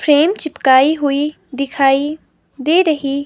frame चिपकाई हुई दिखाई दे रही--